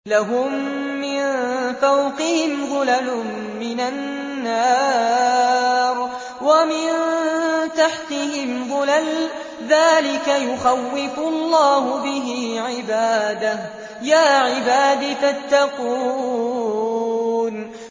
لَهُم مِّن فَوْقِهِمْ ظُلَلٌ مِّنَ النَّارِ وَمِن تَحْتِهِمْ ظُلَلٌ ۚ ذَٰلِكَ يُخَوِّفُ اللَّهُ بِهِ عِبَادَهُ ۚ يَا عِبَادِ فَاتَّقُونِ